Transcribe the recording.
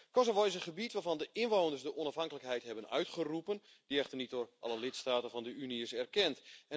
Kosovo is een gebied waarvan de inwoners de onafhankelijkheid hebben uitgeroepen, die echter niet door alle lidstaten van de Unie is erkend.